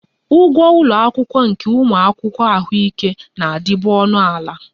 Ụgwọ ụlọ akwụkwọ nke ụmụ akwụkwọ ahụike na-adịbu ọnụ ala